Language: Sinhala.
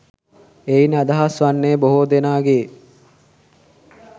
එයින් අදහස් වන්නේ බොහෝ දෙනාගේ